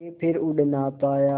के फिर उड़ ना पाया